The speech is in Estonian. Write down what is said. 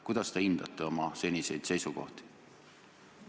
Kuidas te hindate oma seniseid seisukohti?